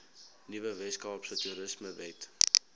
nuwe weskaapse toerismewet